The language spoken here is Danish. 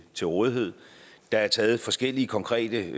til rådighed der er taget forskellige konkrete